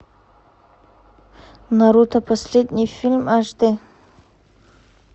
наруто последний фильм аш дэ